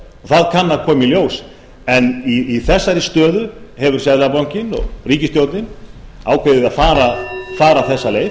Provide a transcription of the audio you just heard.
það kann að koma í ljós en í þessari stöðu hefur seðlabankinn og ríkisstjórnin ákveðið að fara þessa leið